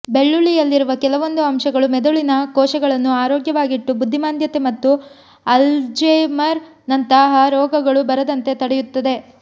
ಬೆಳ್ಳುಳ್ಳಿಯಲ್ಲಿರುವ ಕೆಲವೊಂದು ಅಂಶಗಳು ಮೆದುಳಿನ ಕೋಶಗಳನ್ನು ಆರೋಗ್ಯವಾಗಿಟ್ಟು ಬುದ್ಧಿಮಾಂದ್ಯತೆ ಮತ್ತು ಅಲ್ಝೆಮರ್ ನಂತಹ ರೋಗಗಳು ಬರದಂತೆ ತಡೆಯುತ್ತದೆ